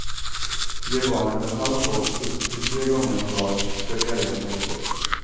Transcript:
Ge barnet en halv kopp upp till tre gånger om dagen så ska diarrén lägga sig.